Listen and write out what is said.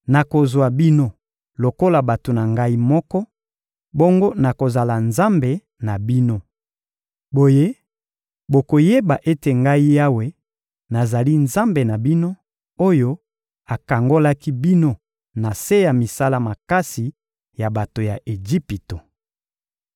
Nakozwa bino lokola bato na Ngai moko, bongo nakozala Nzambe na bino. Boye bokoyeba ete Ngai Yawe, nazali Nzambe na bino, oyo akangolaki bino na se ya misala makasi ya bato ya Ejipito.